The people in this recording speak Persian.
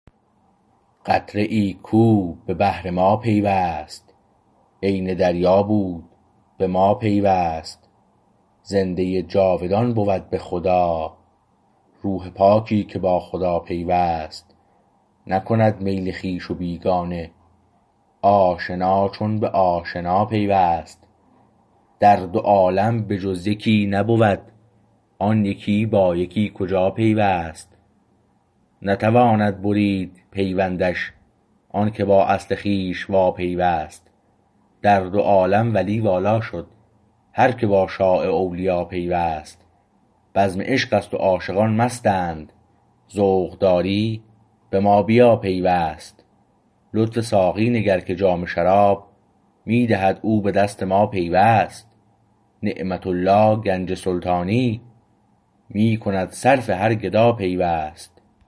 قطره ای کو به بحر ما پیوست عین دریا بود به ما پیوست زنده جاودان بود به خدا روح پاکی که با خدا پیوست نکند میل خویش و بیگانه آشنا چون به آشنا پیوست در دو عالم به جز یکی نبود آن یکی با یکی کجا پیوست نتواند برید پیوندش آنکه با اصل خویش واپیوست در دو عالم ولی والا شد هرکه با شاه اولیا پیوست بزم عشق است و عاشقان مستند ذوق داری به ما بیا پیوست لطف ساقی نگر که جام شراب می دهد او به دست ما پیوست نعمت الله گنج سلطانی می کند صرف هر گدا پیوست